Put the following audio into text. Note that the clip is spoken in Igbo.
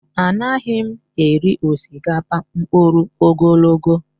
Anaghị m eri osikapa mkpụrụ ogologo